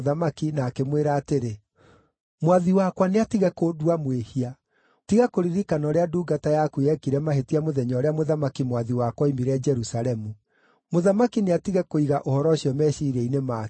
na akĩmwĩra atĩrĩ, “Mwathi wakwa nĩ atige kũndua mwĩhia. Tiga kũririkana ũrĩa ndungata yaku yekire mahĩtia mũthenya ũrĩa mũthamaki mwathi wakwa oimire Jerusalemu. Mũthamaki nĩatige kũiga ũhoro ũcio meciiria-inĩ make.